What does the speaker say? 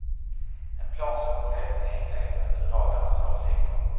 En plan som går helt i enlighet med bedragarnas avsikter.